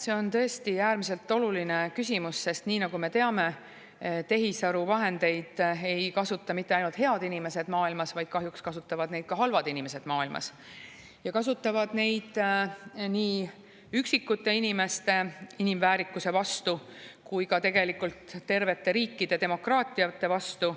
See on tõesti äärmiselt oluline küsimus, sest nii nagu me teame, tehisaru vahendeid ei kasuta maailmas mitte ainult head inimesed, vaid kahjuks kasutavad neid ka halvad inimesed ja kasutavad neid nii üksikute inimeste inimväärikuse vastu kui ka tegelikult tervete riikide, demokraatiate vastu.